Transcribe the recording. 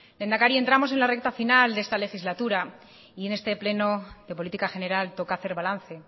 lehendakari entramos en la recta final de esta legislatura y en este pleno de política general toca hacer balance